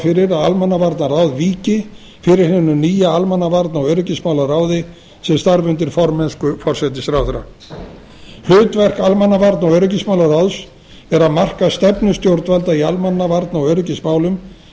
fyrir að almannavarnaráð víki fyrir hinum nýja almannavarna og öryggismálaráði sem starfar undir formennsku forsætisráðherra hlutverk almannavarna og öryggismálaráðs er að marka stefnu stjórnvalda í almannavarna og öryggismálum en í